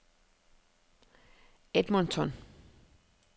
Edmonton